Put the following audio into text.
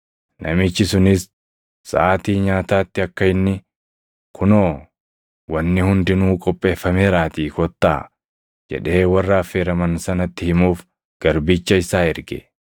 Namichi sunis saʼaatii nyaataatti akka inni, ‘Kunoo, wanni hundinuu qopheeffameeraatii kottaa’ jedhee warra affeeraman sanatti himuuf garbicha isaa erge.